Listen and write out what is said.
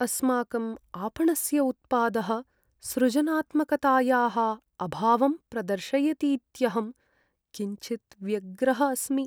अस्माकम् आपणस्य उत्पादः सृजनात्मकतायाः अभावं प्रदर्शयतीत्यहं किञ्चित् व्यग्रः अस्मि।